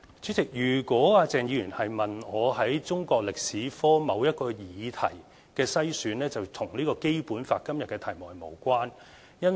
主席，如果鄭議員問的是中國歷史科某一個議題的篩選，這是與今天《基本法》的題目是無關的。